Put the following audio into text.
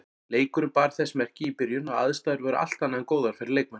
Leikurinn bar þess merki í byrjun að aðstæður voru allt annað en góðar fyrir leikmenn.